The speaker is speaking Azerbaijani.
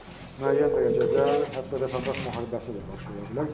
Müəyyən dərəcədə hətta vətəndaş müharibəsi də baş verə bilər.